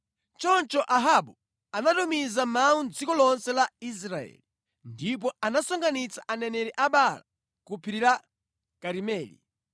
Choncho Ahabu anatumiza mawu mʼdziko lonse la Israeli, ndipo anasonkhanitsa aneneri a Baala ku Phiri la Karimeli.